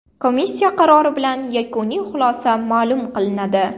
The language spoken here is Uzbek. Komissiya qarori bilan yakuniy xulosa ma’lum qilinadi.